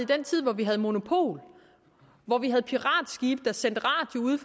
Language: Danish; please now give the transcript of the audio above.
den tid hvor vi havde monopol hvor vi havde piratskibe der sendte radio ude